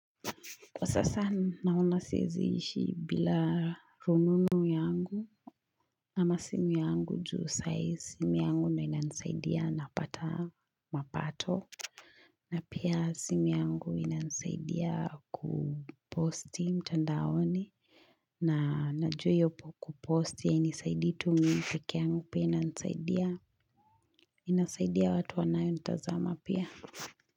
Kwa sasa naona siezi ishi bila rununu yangu ama simu yangu juu saa hii simu yangu ndio ina nisaidia napata mapato. Na pia simu yangu ina nisaidia kuposti mtandaoni na najua hioyopo kuposti hainisaidii tu mi pekee yangu pia ina nisaidia. Inasaidia watu wanayo nitazama pia.